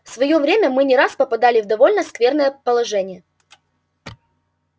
в своё время мы не раз попадали в довольно скверное положение